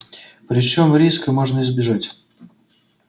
причём риска можно избежать